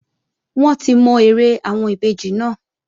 Wọ́n ti mọ eré àwọn ìbejì náà